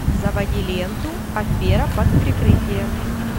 заводи ленту афера под прикрытием